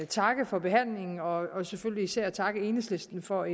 takke for behandlingen og selvfølgelig især takke enhedslisten for